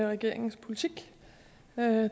regeringens politik